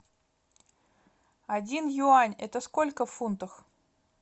один юань это сколько в фунтах